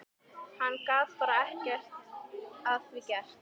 Hann gat bara ekkert að því gert.